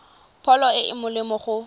pholo e e molemo go